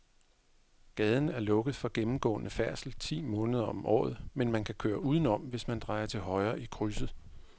Gaden er lukket for gennemgående færdsel ti måneder om året, men man kan køre udenom, hvis man drejer til højre i krydset.